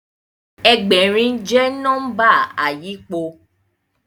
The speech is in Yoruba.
Ẹgbẹ̀rin jẹ́ nọ́mbà àyípo